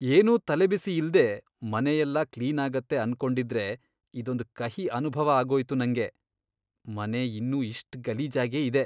ಏನೂ ತಲೆಬಿಸಿ ಇಲ್ದೇ ಮನೆಯೆಲ್ಲ ಕ್ಲೀನಾಗತ್ತೆ ಅನ್ಕೊಂಡಿದ್ರೆ ಇದೊಂದ್ ಕಹಿ ಅನುಭವ ಆಗೋಯ್ತು ನಂಗೆ.. ಮನೆ ಇನ್ನೂ ಇಷ್ಟ್ ಗಲೀಜಾಗೇ ಇದೆ.